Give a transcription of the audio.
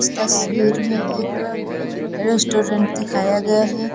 इस तस्वीर में एक रेस्टोरेंट दिखाया गया है।